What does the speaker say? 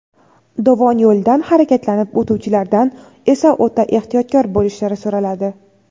dovon yo‘lidan harakatlanib o‘tuvchilardan esa o‘ta ehtiyotkor bo‘lishlari so‘raladi.